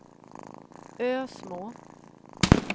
Ösmo